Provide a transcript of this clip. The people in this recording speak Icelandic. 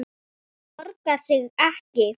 Það borgar sig ekki